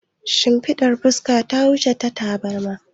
Shimfidar fuska ta wuce ta tabarma